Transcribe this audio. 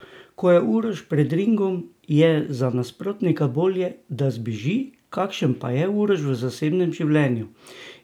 Ko je Uroš pred ringom, je za nasprotnika bolje, da zbeži, kakšen pa je Uroš v zasebnem življenju?